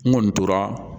N kɔni tora